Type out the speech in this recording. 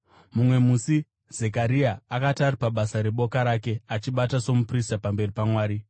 Mumwe musi Zekaria akati ari pabasa reboka rake achibata somuprista pamberi paMwari,